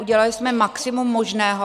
Udělaly jsme maximum možného.